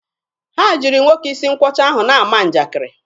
Ha jiri nwoke isi nkwọcha ahụ na-ama njakiri.